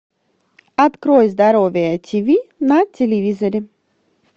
открой здоровое тиви на телевизоре